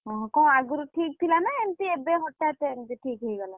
ଓହୋଃ! କଣ ଆଗୁରୁ ଠିକ୍ ଥିଲା ନା ଏମିତି ଏବେ ହଠାତ୍ ଏମିତି ଠିକ୍ ହେଇଗଲା?